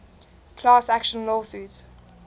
class action lawsuit